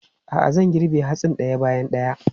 A'a, zan girbe hatsin ɗaya bayan ɗaya.